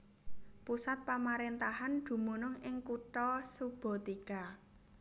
Pusat pamaréntahan dumunung ing kutha Subotica